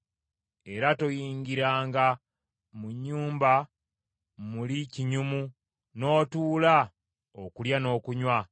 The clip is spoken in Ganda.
Era toyingiranga mu nnyumba muli kinyumu n’otuula okulya n’okunywa.